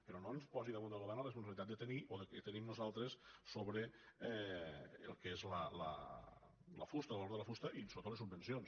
però no ens posi damunt del govern la responsabilitat de tenir o que tenim nosaltres sobre el que és la fusta el valor de la fusta i sobretot les subvencions